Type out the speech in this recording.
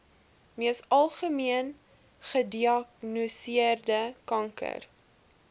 mees algemeengediagnoseerde kanker